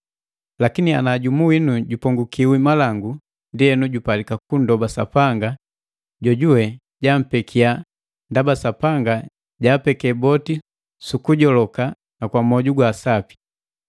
Lakini ana jumu winu jupongukiwi malangu, ndienu, jupalika kunndoba Sapanga jojuwe jampekiya, ndaba Sapanga jaapeke boti su kujoloka na kwa mwoju wa sapi.